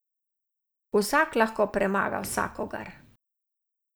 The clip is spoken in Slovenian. Vsak lahko premaga vsakogar.